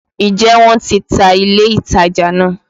Ǹjẹ́ wọ́n ti ta ilé-ìtajà naa?